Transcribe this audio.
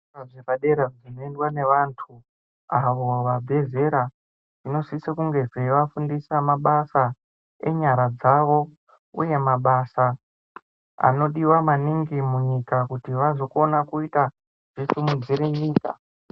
Zvikora zvepadera zvinoendwa nevanthu avo vabve zera zvinosise kunge zveivafundisa mabasa enyara dzavo uye mabasa anodiwa maningi munyika kuti vazokona kuita zvisimudzire nyika.